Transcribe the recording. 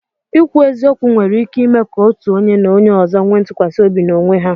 Ikwu eziokwu nwere ike ime ka otu onye na onye ọzọ nwee ntụkwasị obi n'onwe ha.